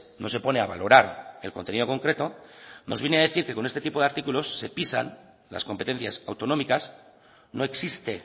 no se pone a valorar el contenido concreto nos viene a decir que con este tipo de artículos se pisan las competencias autonómicas no existe